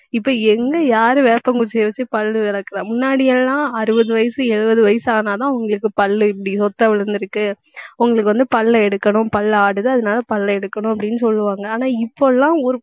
இப்ப எங்க யாரு வேப்பங்குச்சியை வச்சு பல்லு விளக்கறா. முன்னாடி எல்லாம் அறுபது வயசு, எழுபது வயசு ஆனாதான் உங்களுக்குப் பல்லு இப்படி, சொத்தை விழுந்திருக்கு. உங்களுக்கு வந்து, பல்லு எடுக்கணும் பல்லு ஆடுது, அதனால பல்லை எடுக்கணும் அப்படின்னு சொல்லுவாங்க ஆனா, இப்பெல்லாம் ஒரு